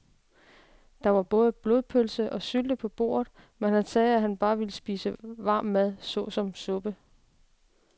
Der var både blodpølse og sylte på bordet, men han sagde, at han bare ville spise varm mad såsom suppe.